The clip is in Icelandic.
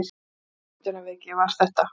Hvaða ímyndunarveiki var þetta?